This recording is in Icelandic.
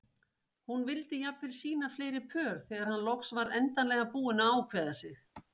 Hún vildi jafnvel sýna fleiri pör þegar hann loks var endanlega búinn að ákveða sig.